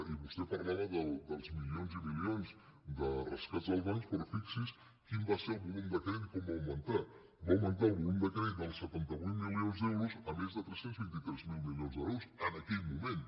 i vos·tè parlava dels milions i milions de rescats als bancs però fixi’s quin va ser el volum de crèdit com va aug·mentar va augmentar el volum de crèdit dels setanta vuit mili·ons d’euros a més tres cents i vint tres mil milions d’euros en aquell moment